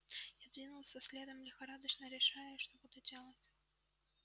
я двинулся следом лихорадочно решая что буду делать